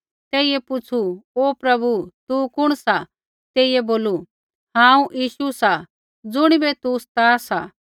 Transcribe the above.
तेइयै पुछ़ू हे प्रभु तू कुण सा तेइयै बोलू हांऊँ यीशु सा ज़ुणिबै तू सता सा